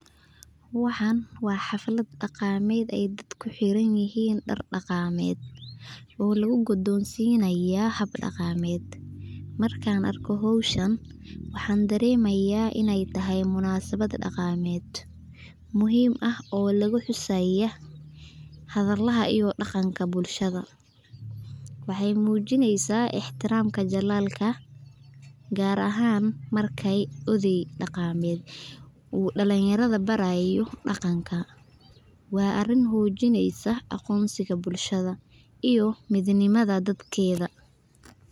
Waxan wa haflad dagamed oo dadka hiranyixiin dar dagamed, oo lagugudonsinayo hab dagamed, markan arko xowshaan waxan daremaya inay tahay munasabad dagamed, muxiim ah oo laguhusayo hadalaha iyo hagamka bulshada, waxay mujinaysa itrixaam jalalka gaar ahan markay oday daqamed uu dalinyarada barayo daganka, wa ariin mujinaysa agonsiga bulshada, iyo midnimada dadkeda.